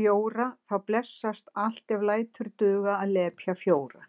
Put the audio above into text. bjóra þá blessast allt ef lætur duga að lepja fjóra